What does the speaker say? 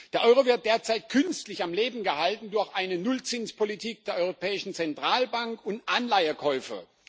Der Euro wird derzeit künstlich am Leben gehalten durch eine Nullzinspolitik der Europäischen Zentralbank und Anleihekäufe.